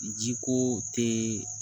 Jiko tɛ